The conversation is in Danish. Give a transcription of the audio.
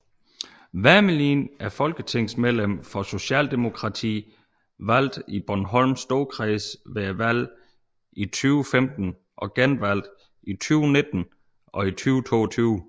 Wermelin er folketingsmedlem for Socialdemokratiet valgt i Bornholms Storkreds ved valget i 2015 og genvalgt i 2019 og 2022